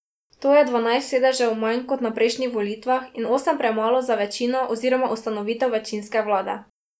To je dvanajst sedežev manj kot na prejšnjih volitvah in osem premalo za večino oziroma ustanovitev večinske vlade.